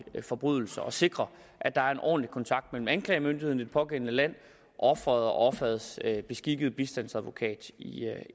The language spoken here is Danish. forbrydelser og sikrer at der er en ordentlig kontakt mellem anklagemyndigheden i det pågældende land og offeret og offerets beskikkede bistandsadvokat i